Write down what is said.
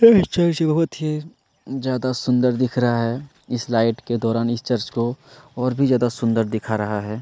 यह चर्च बहुत ज्यादा सुंदर दिख रहा है इस लाइट के दौरान इस चर्च को और भी ज्यादा सुंदर दिखा रहा है।